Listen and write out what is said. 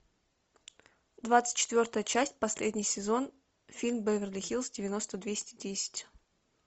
двадцать четвертая часть последний сезон фильм беверли хиллз девяносто двести десять